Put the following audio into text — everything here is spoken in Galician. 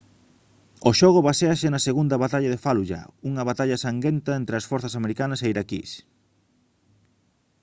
o xogo baséase na segunda batalla de fallujah unha batalla sanguenta entre as forzas americanas e as iraquís